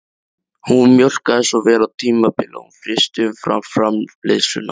Hún mjólkaði svo vel á tímabili að hún frysti umfram-framleiðsluna